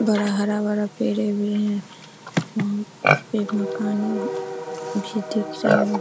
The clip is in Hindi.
बड़ा हरा-भरा पेड़ें भी हैं फिर मकानें भी दिख रहें हैं।